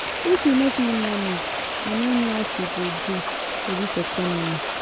If you no fit manage, I no know as we we go do for dis economy.